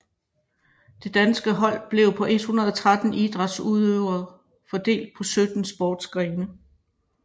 Det danske hold blev på 113 idrætsudøvere fordelt på sytten sportsgrene